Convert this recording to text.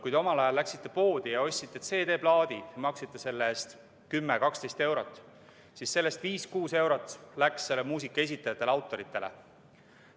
Kui te omal ajal läksite poodi ja ostsite CD-plaadi, maksite selle eest 10–12 eurot, siis sellest 5–6 eurot läks muusika esitajatele ja autoritele.